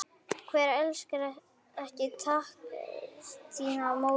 Hver elskar ekki taktíska Móra?